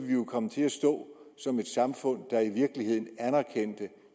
komme til at stå som et samfund der i virkeligheden anerkendte